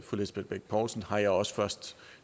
lisbeth bech poulsen har jeg også først